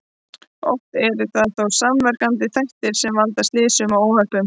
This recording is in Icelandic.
Oft eru það þó samverkandi þættir sem valda slysum og óhöppum.